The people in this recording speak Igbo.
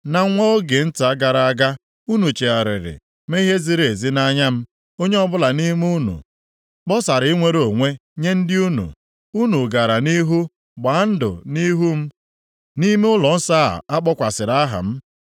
Na nwa oge nta gara aga unu chegharịrị mee ihe ziri ezi nʼanya m. Onye ọbụla nʼime unu kpọsara inwere onwe nye ndị unu. Unu gara nʼihu gbaa ndụ nʼihu m nʼime ụlọnsọ ahụ a kpọkwasịrị aha m.